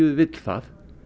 vill það